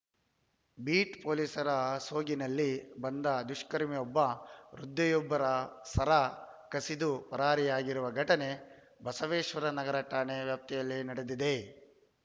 beet ಪೊಲೀಸರ ಸೋಗಿನಲ್ಲಿ ಬಂದ ದುಷ್ಕರ್ಮಿಯೊಬ್ಬ ವೃದ್ಧೆಯೊಬ್ಬರ ಸರ ಕಸಿದು ಪರಾರಿಯಾಗಿರುವ ಘಟನೆ ಬಸವೇಶ್ವರ ನಗರ ಠಾಣಾ ವ್ಯಾಪ್ತಿಯಲ್ಲಿ ನಡೆದಿದೆ